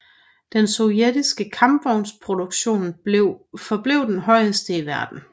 Den sovjetiske kampvognsproduktion forblev den højeste i verden